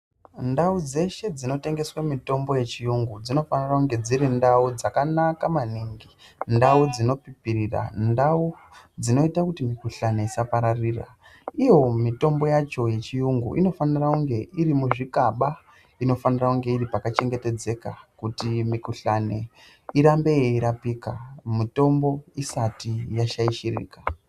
Ndau dzeshe dzinotengeswa mitombo yechiyungu, dzinofanira kunge dziri ndau dzakanaka maningi. Ndau dzinobhibhirira. Ndau dzinoita kuti mikuhlani isapararira. Iyo mitombo yacho yechuyungu inofanira kunge iri muzvikaba, inofanira kunge iri pakachengetedzeka kuti mikuhlani irambe yeirapika, mutombo isati yashaishirika.